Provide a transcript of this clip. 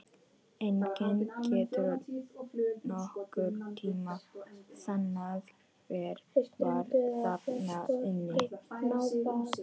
Enginn getur nokkurn tíma sannað hver var þarna inni!